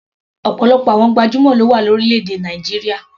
Ọ̀pọ̀lọpọ̀ àwọn gbajúmọ̀ ló wà ní orílẹ̀-èdè Nàìjíríà.